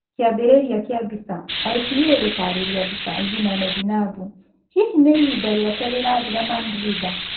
Kĩambĩrĩria kĩa mbica, IPA gũtarĩria mbica, Zinane Zainabu, hihi nĩ ihinda rĩake rĩrathira Mandrinda?